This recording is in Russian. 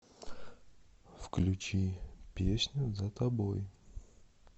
включи песню за тобой